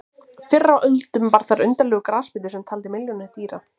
Fyrr á öldum var þar undarlegur grasbítur sem taldi milljónir dýra.